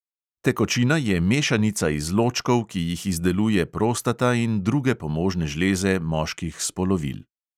Tekočina je mešanica izločkov, ki jih izdeluje prostata in druge pomožne žleze moških spolovil.